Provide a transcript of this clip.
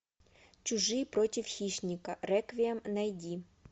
чужие против хищника реквием найди